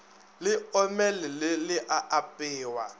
le omelele le a apewa